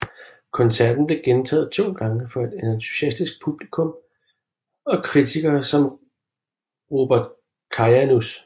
Koncerten blev gentaget to gange for et entusiastisk publikum og kritikere som Robert Kajanus